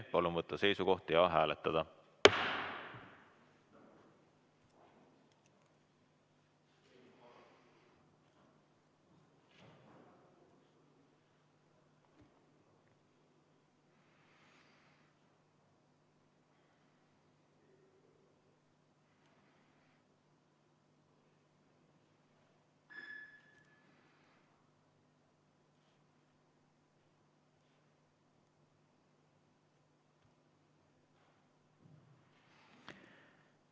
Palun võtta seisukoht ja hääletada!